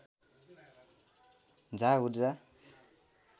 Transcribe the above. झा ऊर्जा